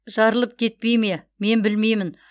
жарылып кетпей ме мен білмеймін